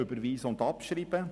Überweisen und abschreiben!